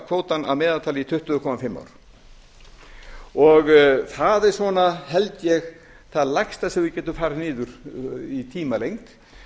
kvótann að meðaltali í tuttugu komma fimm ár og það er svona held ég það lægsta sem við getum farið niður í tímalengd